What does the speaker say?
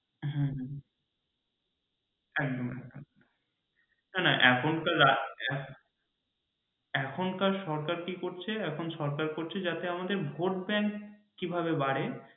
হ্যাঁ একদম একদম না না এখন তো রাস্তা এখনকার সরকার কি করছে এখন সরকার করছে যাতে আমাদের ভোট ব্যাঙ্ক কিভাবে বাড়ে